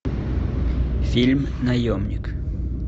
фильм наемник